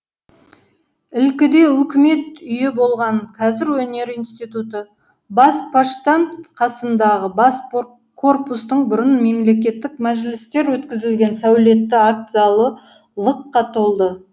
ілкіде үкімет үйі болған қазір өнер институты бас поштамт қасындағы бас корпустың бұрын мемлекеттік мәжілістер өткізілген сәулетті акт залы лықа толды